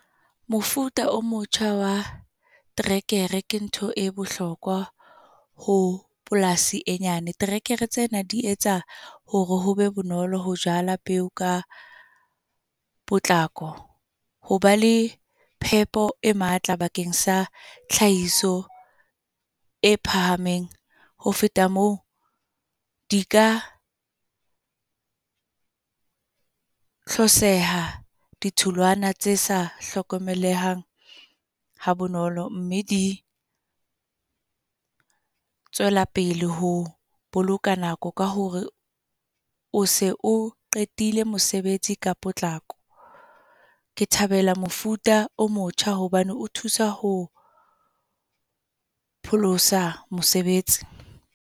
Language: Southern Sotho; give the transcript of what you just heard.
Mofuta o motjha wa terekere ke ntho e bohlokwa, ho polasi e nyane. Terekere tsena di etsa, hore ho be bonolo ho jala peo ka potlako. Ho ba le phepo e matla bakeng sa tlhahiso e phahameng. Ho feta moo, di ka hloseha, ditholwana tse sa hlokomelehang ha bonolo. Mme di tswela pele ho boloka nako ka hore, o se o qetile mosebetsi ka potlako. Ke thabela mofuta o motjha, hobane o thusa ho pholosa mosebetsi.